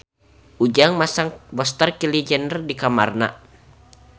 Ujang masang poster Kylie Jenner di kamarna